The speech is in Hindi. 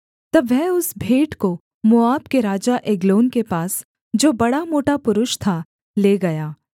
तब वह उस भेंट को मोआब के राजा एग्लोन के पास जो बड़ा मोटा पुरुष था ले गया